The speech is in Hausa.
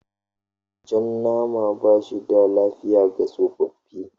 Jan nama ba shi da lafiya ga tsofaffi.